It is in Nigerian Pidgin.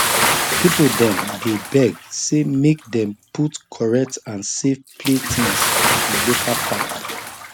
people dem dey beg say make dem put correct and safe play things for the local park